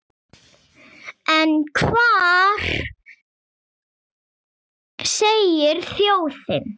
En hvað segir þjóðin?